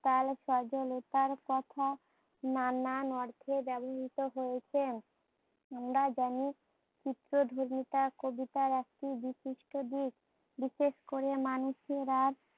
তায় সজলতার কথা নান অর্থে ব্যবহৃত হয়েছে। আমরা জানি কবিতার একটি বিশিষ্ট দিক, বিশেষ করে মানুশেরা